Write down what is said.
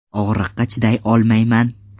Og‘riqqa chiday olmayman.